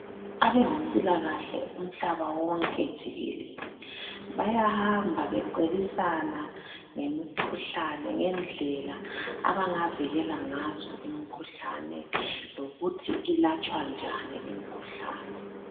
Abezempilakahle umhlaba wonke jikelele bayahamba becebisana ngemkhuhlane, ngendlela abangavikela ngazo imkhuhlane lokuthi ilatshwa njani imkhuhlane.